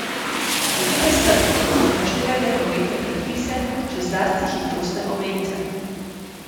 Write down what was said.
Bodite strpni in upoštevajte prometne predpise, še zlasti hitrostne omejitve.